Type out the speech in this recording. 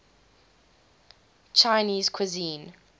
chinese cuisine